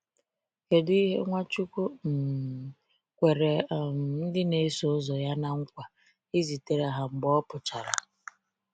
Kedu ihe Nwachukwu um kwere um ndị na -eso ụzọ ya na-nkwa izitere ha mgbe ọ pụchara?